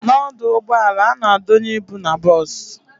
N'ọdụ ụgbọala, a na-adonye ịbụ n'bos